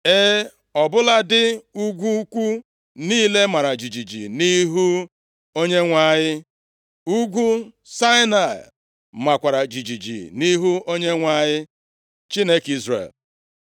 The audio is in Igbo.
E, ọ bụladị ugwu ukwu niile mara jijiji nʼihu Onyenwe anyị. Ugwu Saịnaị makwara jijiji nʼihu Onyenwe anyị, Chineke Izrel.